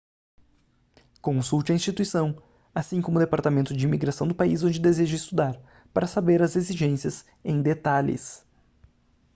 consulte a instituição assim como o departamento de imigração do país onde deseja estudar para saber as exigências em detalhes